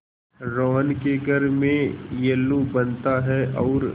रोहन के घर में येल्लू बनता है और